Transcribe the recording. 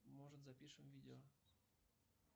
может запишем видео